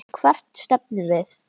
Hvert stefnum við?